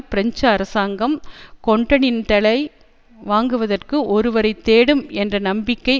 French அரசாங்கம் கொன்டனென்டலை வாங்குவதற்கு ஒருவரை தேடும் என்ற நம்பிக்கை